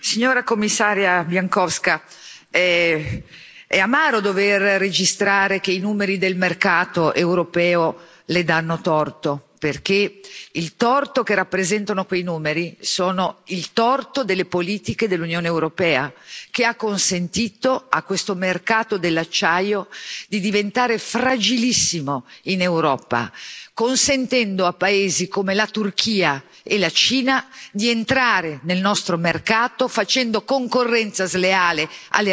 Signor Presidente, onorevoli colleghi, signora Commissaria Bieńkowska, è amaro dover registrare che i numeri del mercato europeo Le danno torto, perché il torto che rappresentano quei numeri sono il torto delle politiche dell'Unione Europea, che ha consentito a questo mercato dell'acciaio di diventare fragilissimo in Europa, consentendo a paesi come la Turchia e la Cina di entrare nel nostro mercato facendo concorrenza sleale alle nostre aziende.